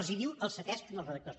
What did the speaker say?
els ho diu el ctesc als redactors